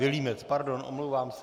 Vilímec, pardon, omlouvám se.